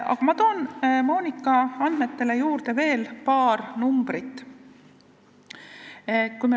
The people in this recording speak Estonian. Aga ma toon Monika andmete juurde veel paar numbrit.